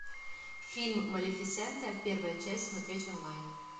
фильм малефисента первая часть смотреть онлайн